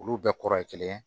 Olu bɛɛ kɔrɔ ye kelen